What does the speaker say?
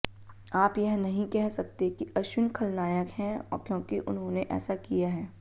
आप यह नहीं कह सकते कि अश्विन खलनायक हैं क्योंकि उन्होंने ऐसा किया है